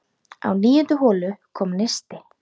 Á níundu holu kom neisti.